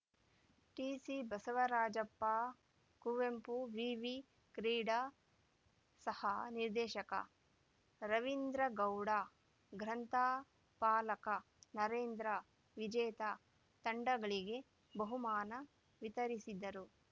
ಟಿಸಿಬಸವರಾಜಪ್ಪ ಕುವೆಂಪು ವಿವಿ ಕ್ರೀಡಾ ಸಹ ನಿರ್ದೇಶಕ ರವೀಂದ್ರಗೌಡ ಗ್ರಂಥಪಾಲಕ ನರೇಂದ್ರ ವಿಜೇತ ತಂಡಗಳಿಗೆ ಬಹುಮಾನ ವಿತರಿಸಿದರು